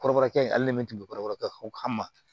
Kɔrɔbɔrɔkɛ ye ale le min tun bɛ kɔrɔbɔrɔ kan fɔ ka ma